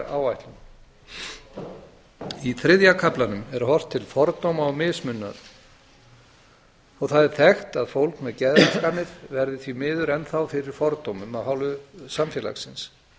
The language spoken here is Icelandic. gera innleiðingaráætlun í þriðja kaflanum er horft til fordóma og mismununar það er þekkt að fólk með geðraskanir verði því miður enn þá fyrir fordómum af hálfu samfélagsins